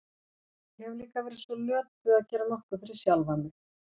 Ég hef líka verið svo löt við að gera nokkuð fyrir sjálfa mig.